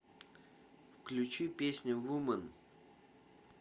включи песня вумен